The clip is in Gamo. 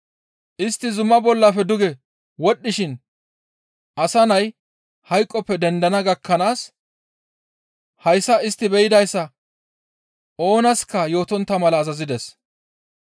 Istti zuma bollafe duge wodhdhishin Asa Nay hayqoppe dendana gakkanaas hayssa istti be7idayssa oonaska yootontta mala azazides.